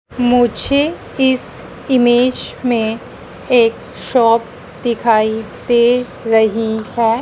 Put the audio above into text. मुझे इस इमेज में एक शॉप दिखाई दे रही है।